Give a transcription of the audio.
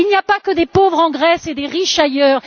Il n'y a pas que des pauvres en Grèce et des riches ailleurs.